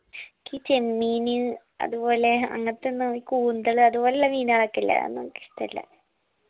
ഈ ചെമ്മീന് അതുപോലെ അങ്ങൻതുള്ളേ ഈ കൂന്തൽ അതുപോലുള്ള മീന്കളൊക്കെ ല്ലേ അതൊന്നു അനക്ക് ഇഷ്ടല്ല